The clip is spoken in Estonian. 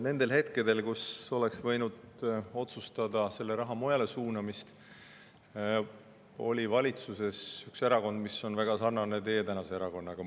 Nendel aegadel, kus oleks võinud otsustada selle raha mujale suunamist, oli valitsuses üks erakond, mis on väga sarnane teie tänase erakonnaga.